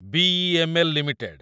BEML. Limited